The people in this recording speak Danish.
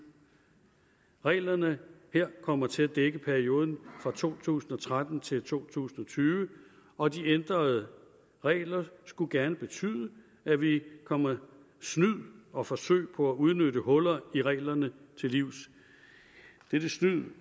reglerne her kommer til at dække perioden fra to tusind og tretten til to tusind og tyve og de ændrede regler skulle gerne betyde at vi kommer snyd og forsøg på at udnytte huller i reglerne til livs dette snyd